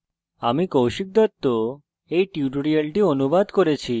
আমি কৌশিক দত্ত এই টিউটোরিয়ালটি অনুবাদ করেছি